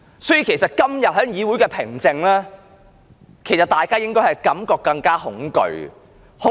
所以，對於今天議會上的平靜，其實大家應有更恐懼的感覺。